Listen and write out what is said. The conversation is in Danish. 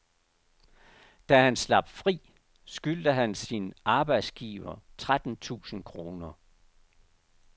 Da han slap fri, skyldte han sin arbejdsgiver tretten tusind kroner.